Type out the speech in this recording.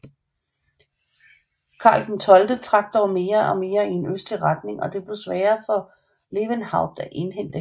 Karl XII trak dog mere og mere i en østlig retning og det blev sværere for Lewenhaupt at indhente hæren